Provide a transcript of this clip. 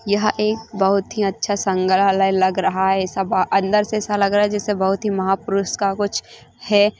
यह एक बहुत ही अच्छा संग्राहलय लग रहा है ये सब अंदर से ऐसा लग रहा जैसा बहुत ही महापुरुष का कुछ है।